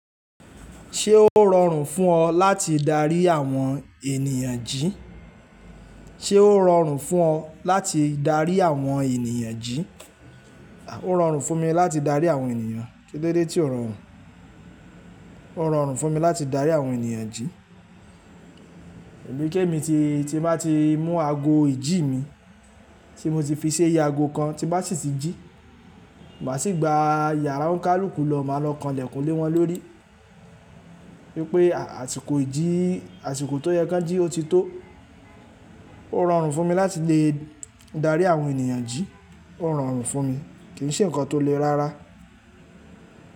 Ṣé ó rọrùn fún ọ láti darí àwọn ènìyàn jí? Ṣé ó rọrùn fún ọ láti darí àwọn ènìyàn jí? Ó rọrùn fún mi láti darí àwọn ènìyàn. Kílódé tí ó rọrùn? Ó rọrùn fún mi láti darí àwọn ènìyàn jí. Èmi kémi tí, tí máa ti mú ago ìjí mi tí mo ti fi ṣi iye ago kan tí bá sì tí jí, màá sì gba yàrá ońkàlùkù lọ, màá lọ kanlẹ̀kun lé wọ́n lórí wípé àsìkò ìjí, àsìkò tó yẹ kí wọ́n jí ó ti tó. Ó rọrùn fún mi láti lè darí àwọn ènìyàn jí. Ó rọrùn fún mi, kì í ṣe ǹkan tó le rárá.